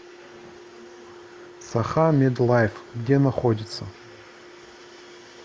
сахамедлайф где находится